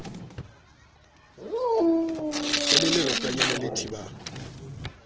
ho le leratanyana le thibang